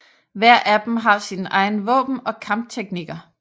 Hver af dem har sine egne våben og kampteknikker